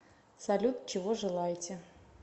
салют чего желаете